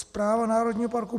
Správa Národního parku